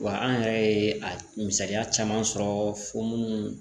Wa an yɛrɛ ye a misaliya caman sɔrɔ fɔ minnu